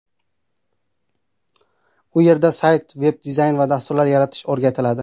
U yerda sayt, veb-dizayn va dasturlar yaratish o‘rgatiladi.